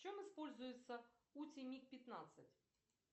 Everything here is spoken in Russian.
в чем используется утимик пятнадцать